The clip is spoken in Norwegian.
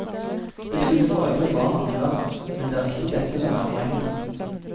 Det skulle forøvrig bare mangle, men det er ikke dette som er poenget.